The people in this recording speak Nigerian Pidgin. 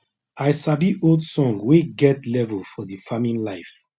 i sabi old song wey get level for the farming life